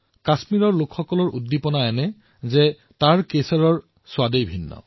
কাশ্মীৰৰ জনতাৰ উৎসাহ এনেকুৱা যে তাৰে কেশৰৰ সোৱাদেই ভিন্ন